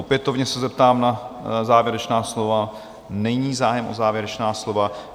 Opětovně se zeptám na závěrečná slova - není zájem o závěrečná slova.